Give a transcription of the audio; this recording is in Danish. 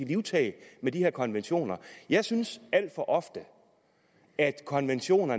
livtag med de her konventioner jeg synes alt for ofte at konventioner